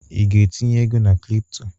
I ga-entinye ego na kripto?